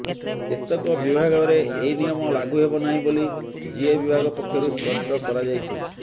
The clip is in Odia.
କେତେକ ବିଭାଗରେ ଏହି ନିୟମ ଲାଗୁ ହେବନାହିଁ ବୋଲି ଜିଏ ବିଭାଗ ପକ୍ଷରୁ ସ୍ପଷ୍ଟ କରାଯାଇଛି